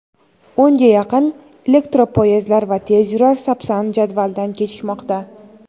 o‘nga yaqin elektropoyezdlar va tezyurar "Sapsan" jadvaldan kechikmoqda.